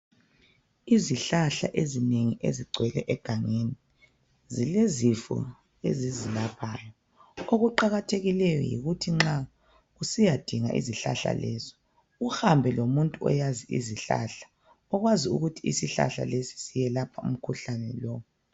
Izihlahla ezinengi ezigcwele egangeni zilezifo ezizilaphayo okuqakathekileyo yikuthi nxa usiyadinga izihlahla lezo uhambe lomuntu oyazi izihlahla okwazi ukuthi isihlahla lesi siyelapha umkhuhlane lowu.